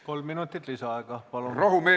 Kolm minutit lisaaega, palun!